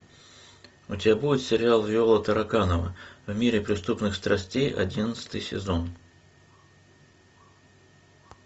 у тебя будет сериал виола тараканова о мире преступных страстей одиннадцатый сезон